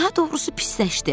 Daha doğrusu pisləşdi.